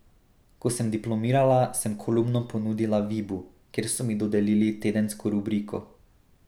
Ko sem diplomirala, sem kolumno ponudila Vibu, kjer so mi dodelili tedensko rubriko.